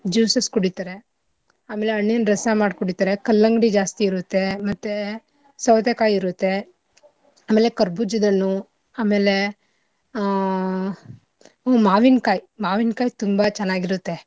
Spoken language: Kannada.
Juices ಕುಡಿತಾರೆ ಆಮೇಲೆ ಹಣ್ಣಿನ ರಸ ಮಾಡ್ ಕುಡಿತಾರೆ, ಕಲ್ಲಂಗಡಿ ಜಾಸ್ತಿ ಇರುತ್ತೆ, ಮತ್ತೇ ಸೌತೆಕಾಯಿ ಇರುತ್ತೆ. ಆಮೇಲೆ ಖರಬೂಜದ್ ಹಣ್ಣು ಆಮೇಲೆ ಆ ಹ್ಮ್ ಮಾವಿನಕಾಯ್ ಮಾವಿನ್ಕಾಯ್ ತುಂಬಾ ಚೆನ್ನಾಗಿರುತ್ತೆ.